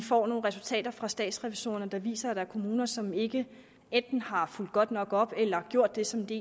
får nogle resultater fra statsrevisorerne der viser at der er kommuner som ikke enten har fulgt godt nok op eller gjort det som de